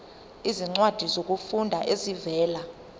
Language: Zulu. izincwadi zokufunda ezivela